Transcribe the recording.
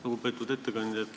Lugupeetud ettekandja!